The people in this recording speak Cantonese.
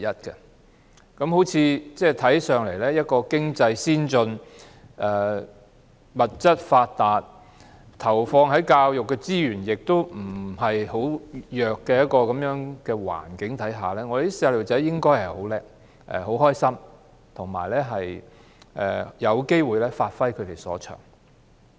在一個看似經濟先進、物質發達、投放教育資源不太弱的環境之下，小朋友理應很優秀、很快樂，而且有機會發揮所長。